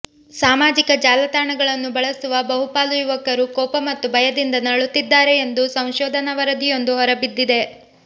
ಸಾಮಾಜಿಕ ಜಾಲತಾಣಗಳನ್ನು ಬಳಸುವ ಬಹುಪಾಲು ಯುವಕರು ಕೋಪ ಮತ್ತು ಭಯದಿಂದ ನರಳುತ್ತಿದ್ದಾರೆ ಎಂದು ಸಂಶೋಧನಾ ವರದಿಯೊಂದು ಹೊರಬಿದ್ದಿದೆ